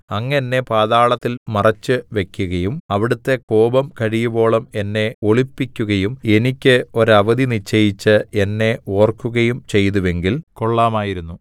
അങ്ങ് എന്നെ പാതാളത്തിൽ മറച്ചുവയ്ക്കുകയും അവിടുത്തെ കോപം കഴിയുവോളം എന്നെ ഒളിപ്പിക്കുകയും എനിക്ക് ഒരവധി നിശ്ചയിച്ച് എന്നെ ഓർക്കുകയും ചെയ്തുവെങ്കിൽ കൊള്ളാമായിരുന്നു